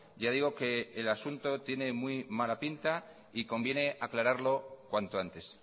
ya digo que el asunto tiene muy mala pinta y conviene aclararlo cuanto antes